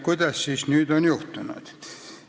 Mis siis nüüd on juhtunud?